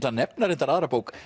að nefna reyndar aðra bók